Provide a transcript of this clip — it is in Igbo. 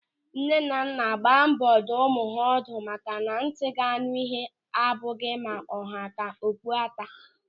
Nnenanna gbaa mbọ dụọ ụmụaka ha ọdụ maka na ntị ga-anụ ịhe abụghị ma ọ ha ka okpu ata.